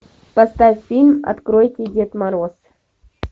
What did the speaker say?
поставь фильм откройте дед мороз